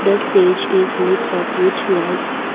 the stage is lit up with lights.